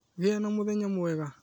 Gĩa na mũthenya mwega